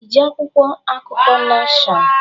Iji akwụkwọ akụkọ Neshọn?